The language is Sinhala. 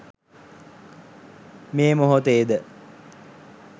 මේ මොහොතේ ද